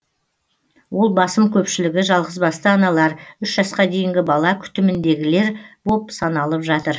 ол басым көпшілігі жалғызбасты аналар үш жасқа дейінгі бала күтіміндегілер боп саналып жатыр